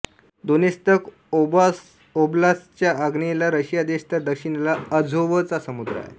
Donetsk ओब्लास्तच्या आग्नेयेला Russia देश तर दक्षिणेला अझोवचा समुद्र आहेत